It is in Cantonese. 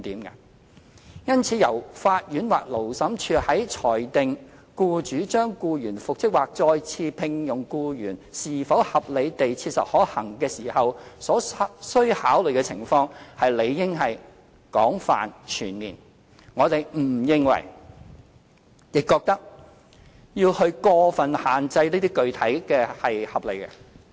因此，由法院或勞審處於裁定僱主將僱員復職或再次聘用僱員是否合理地切實可行時所須考慮的情況，理應廣泛全面，我們認為過分具體的要求並不合理。